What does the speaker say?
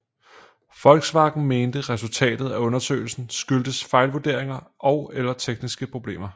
Volkswagen mente resultatet af undersøgelsen skyldtes fejlvurderinger eller tekniske problemer